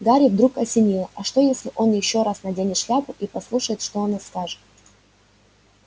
гарри вдруг осенило а что если он ещё раз наденет шляпу и послушает что она скажет